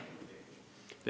Jah, teenustesse.